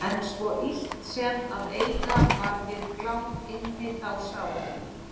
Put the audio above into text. En svo illt sem að eiga var við Glám inni þá sá